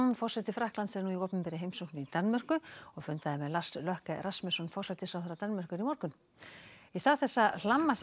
forseti Frakklands er nú í opinberri heimsókn í Danmörku og fundaði með Lars Løkke Rasmussen forsætisráðherra Danmerkur í morgun í stað þess að hlamma sér